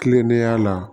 Kilennenya la